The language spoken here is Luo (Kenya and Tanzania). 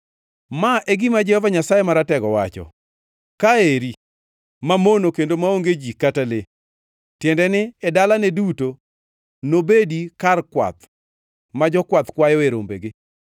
“Ma e gima Jehova Nyasaye Maratego wacho: ‘Ka eri, mamono kendo maonge ji kata le, tiende ni e dalane duto nobedi kar kwath ma jokwath kwayoe rombegi.